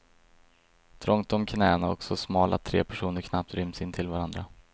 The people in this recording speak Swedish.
Trångt om knäna och så smal att tre personer knappt ryms intill varandra.